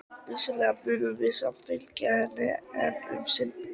Vissulega munum við samt fylgja henni enn um sinn.